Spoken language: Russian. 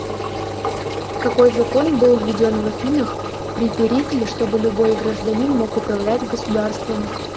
какой закон был введен в афинах при перикле чтобы любой гражданин мог управлять государством